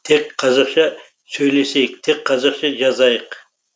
тек қазақша сөйлесейік тек қазақша жазайық